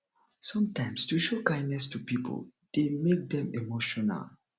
sometimes to show kindness to pipo de make dem emotional